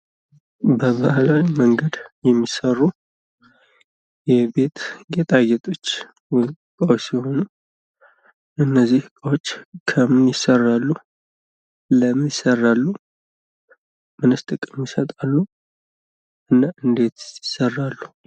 በባህላዊ መንገድ የሚሰሩ የቤት ገጣጌቶች ዕቃወች ሲሆኑ እነዚህ እቃዎች ከምን ይሰራሉ? ለምን ይሰራሉ? ምንስ ጥቅም ይሰጣሉ? እና እንዴት ይሰራሉ?